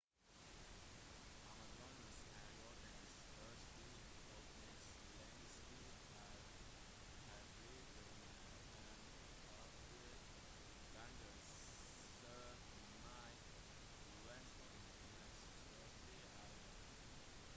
amazonas er jordens største og nest lengste elv her flyter mer enn 8 ganger så mye vann som den nest største elven